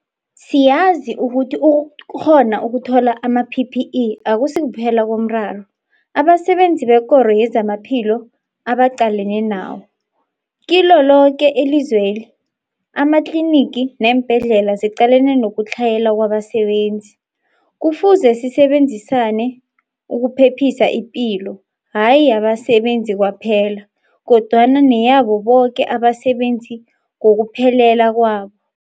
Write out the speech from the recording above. Siyazi ukuthi ukukghona ukuthola ama-PPE akusikuphela komraro abasebenzi bekoro yezamaphilo abaqalene nawo. Kilo loke ilizweli amatlinigi neembhedlela ziqalene nokutlhayela kwabasebenzi. Kufuze sisebenzisane ukuphephisa ipilo hayi yabasebenzi kwaphela, kodwana neyabo boke abasebenzi ngokuphelela kwabo.